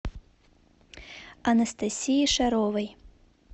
анастасии шаровой